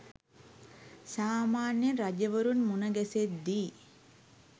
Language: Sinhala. සාමාන්‍යයෙන් රජවරුන් මුණගැසෙද්දී